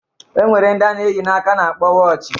E nwere ndi a na-eyi n'aka a na-akpọ wọochi